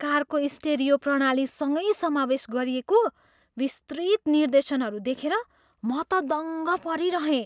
कारको स्टिरियो प्रणालीसँगै समावेश गरिएको विस्तृत निर्देशनहरू देखेर म त दङ्ग परिरहेँ।